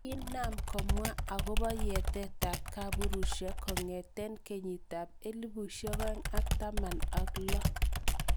Kiinam kemwa agopo yatet ap kapuruishiek kongeten kenyitap 2016.